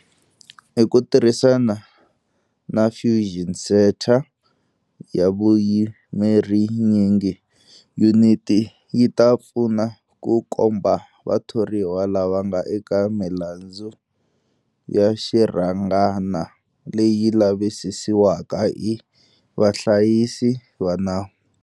Hi ku tirhisana na Fusion Centre ya vuyimerinyingi, yuniti yi ta pfuna ku komba vathoriwa lava nga eka milandzu ya xirhangana leyi lavisisiwaka hi vahlayisi va nawu.